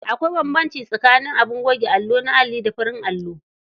Akwai bambanci tsakaning abin goge allo na alli da na farin allo.